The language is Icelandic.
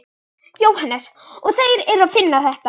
Jóhannes: Og þeir eru að finna þetta?